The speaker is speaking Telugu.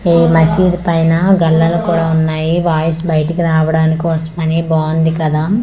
ఈ మసీదు పైన గళ్ళలు కూడా ఉన్నాయి వాయిస్ బయటకు రావడానికి కోసమని బాగుంది కదా.